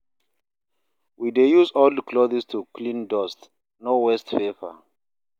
We dey use old clothes to clean dust, no waste paper